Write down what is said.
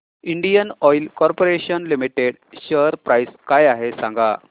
Indian oil corporation limited share price काय आहे सांगा